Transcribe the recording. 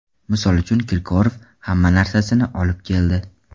Misol uchun Kirkorov hamma narsasini olib keldi.